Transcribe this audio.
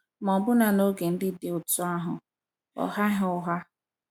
Ma, ọbụna n’oge ndị dị otú ahụ, ọ ghaghị ụgha.